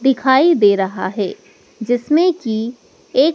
दिखाई दे रहा है जिसमें की एक--